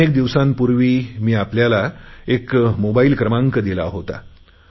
अनेक दिवसांपूर्वी मी आपल्याला एक मोबाईल क्रमांक दिला होता